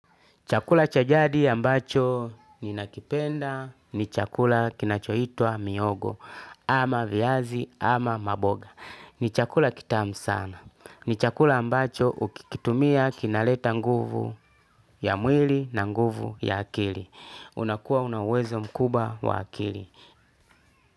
Chakula cha jadi ambacho ninakipenda ni chakula kinachoitwa mihogo ama viazi ama maboga. Ni chakula kitamu sana. Ni chakula ambacho ukikitumia kinaleta nguvu ya mwili na nguvu ya akili. Unakua una uwezo mkubwa wa akili.